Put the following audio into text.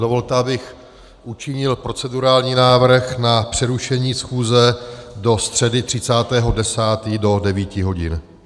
Dovolte, abych učinil procedurální návrh na přerušení schůze do středy 30. 10. do 9 hodin.